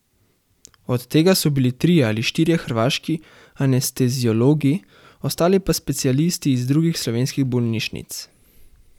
Od tega so bili trije ali štirje hrvaški anesteziologi, ostali pa specialisti iz drugih slovenskih bolnišnic.